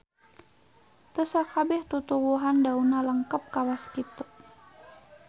Teu sakabeh tutuwuhan daunna lengkep kawas kitu